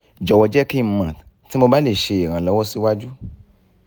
jọwọ jẹ ki n mọ ti mo ba le ṣe iranlọwọ siwaju